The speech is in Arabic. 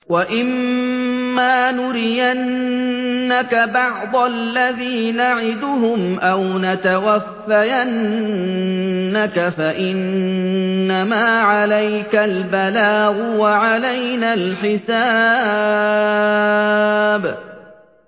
وَإِن مَّا نُرِيَنَّكَ بَعْضَ الَّذِي نَعِدُهُمْ أَوْ نَتَوَفَّيَنَّكَ فَإِنَّمَا عَلَيْكَ الْبَلَاغُ وَعَلَيْنَا الْحِسَابُ